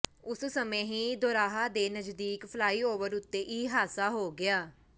ਉਸੇ ਸਮੇਂ ਹੀ ਦੋਰਾਹਾ ਦੇ ਨਜ਼ਦੀਕ ਫਲਾਈਓਵਰ ਉੱਤੇ ਇਹ ਹਾਦਸਾ ਹੋ ਗਿਆ